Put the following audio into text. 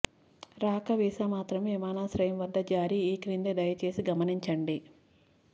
రాక వీసా మాత్రమే విమానాశ్రయం వద్ద జారీ ఈక్రింది దయచేసి గమనించండి